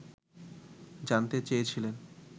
জানতে চেয়েছিলেন